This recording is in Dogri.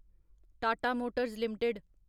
Tata motors limited